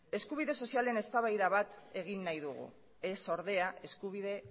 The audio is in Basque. eskubide sozialen eztabaida bat egin nahi dugu ez ordea eskubide